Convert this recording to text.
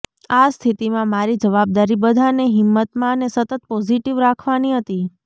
આ સ્થિતિમાં મારી જવાબદારી બધાને હિંમતમાં અને સતત પોઝિટિવ રાખવાની હતી